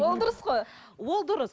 ол дұрыс қой ол дұрыс